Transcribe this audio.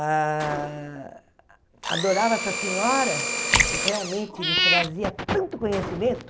Ah adorava essa senhora, que realmente me trazia tanto conhecimento.